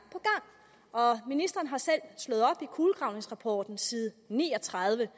ministeren har selv slået op i kulegravningsrapporten side ni og tredive